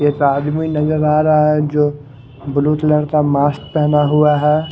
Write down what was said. आदमी नजर आ रह अहै जो ब्लू कलर का मास्क पहना हुआ है।